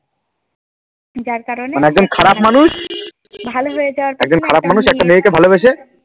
মানে একজন খারাপ মানুষ একজন খারাপ মানুষ একটা মেয়েকে ভালোবেসে